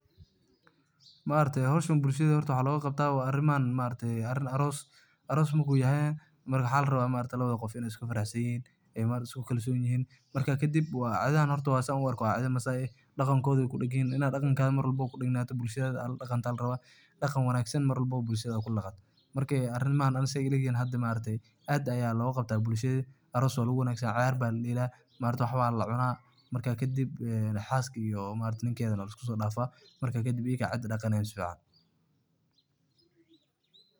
Maaragte howshan horta bulshada maxa loga qabta aroos marku yahay, marka maxa larawa labada qof iney isku farax sanyihin oo isku kalson yihin ,marka kadib horta cidahan san u arko waa cidaa Masai eh daqankoda ay kudagan yihin, adigana maxa la raba inaad kaga aad ku nagnato oo daqan wanagsan mar walba aad bulshada kuladaqato, marka arimahan aniga sey ilayihin aad ayaa loga qabta bulshada aros walagu wadaga, waladela waxba lacuna marka kadib xaaska iyo ninkeda aa lasiku sodafa ,marka kadib ikaa cida daqanayin si fican.